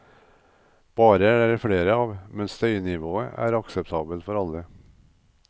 Barer er det flere av, men støynivået er akseptabelt for alle.